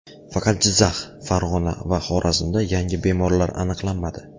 Faqat Jizzax, Farg‘ona va Xorazmda yangi bemorlar aniqlanmadi.